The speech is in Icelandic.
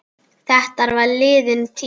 Þetta er liðin tíð.